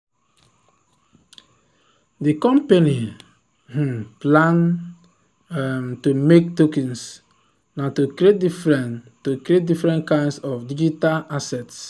the company um plan um to make tokens na to create different to create different kinds of digital assets.